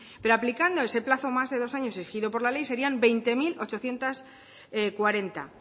pero aplicando ese plazo más de dos años exigido por la ley serian veinte mil ochocientos cuarenta